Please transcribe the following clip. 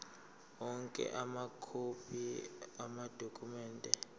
onke amakhophi amadokhumende